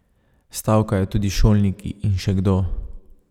Stavkajo tudi šolniki in še kdo.